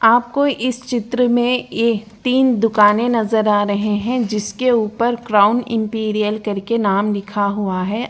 आपको इस चित्र में ए-तीन दुकाने नजर आ रहे है जिसके ऊपर क्राउन इम्पीरीअल करके नाम लिखा हूआ है।